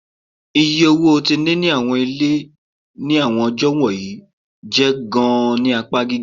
Iye owo ti nini awọn ile ni awọn ọjọ wọnyi jẹ gaan ni apa giga